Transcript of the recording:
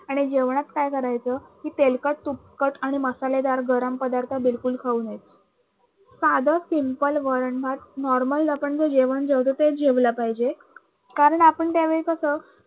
आणि जेवणात काय करायच कि तेलकट तुपकट आणि मसालेदार गरम पदार्थ बिलकुल खाऊ नयेत. साध simple वरण भात normal आपण जे जेवण जेवतो ते जेवले पाहिजे कारण आपण त्यावेळी कस